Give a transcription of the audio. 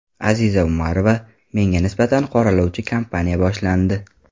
Aziza Umarova: Menga nisbatan qoralovchi kampaniya boshlandi.